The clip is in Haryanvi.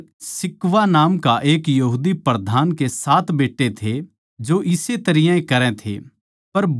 अर स्क्किवा नाम का एक यहूदी प्रधान याजक के सात बेट्टे थे जो इस्से तरियां ए करै थे